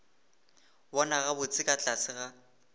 bona gabotse ka tlase ga